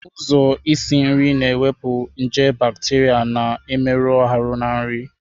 Ụzọ isi nri na-ewepụ nje bacteria na-emerụ ahụ na nri.